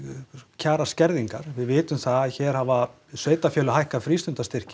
kjaraskerðingar við vitum það að hér hafa sveitafélög hækkað